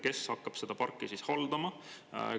Kes hakkab seda parki haldama?